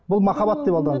бұл махаббат деп алданып